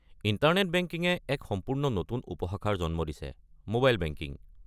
Internet বেংকিঙে এক সম্পূৰ্ণ নতুন উপশাখাৰ জন্ম দিছে - ম'বাইল বেংকিং।